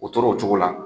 O tora o cogo la